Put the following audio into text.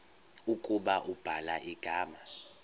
ukuba ubhala igama